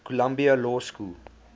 columbia law school